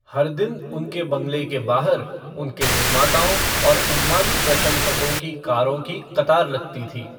हर दिन उनके बंगले के बाहर उनके निर्माताओं और उन्मादी प्रशंसकों की कारों की कतार लगती थी।